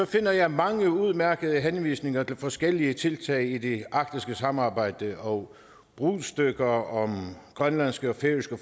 finder jeg mange udmærkede henvisninger til forskellige tiltag i det arktiske samarbejde og brudstykker om grønlandske og færøske